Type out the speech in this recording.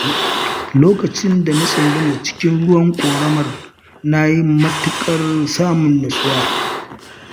lokacin da na tsunduma cikin ruwan ƙoramar, na yi matuƙar samun nutsuwa.